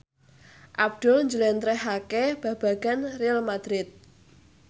Abdul njlentrehake babagan Real madrid